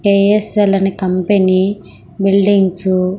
KSL అనే company buildings .